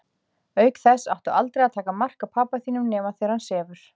Auk þess áttu aldrei að taka mark á pabba þínum nema þegar hann sefur.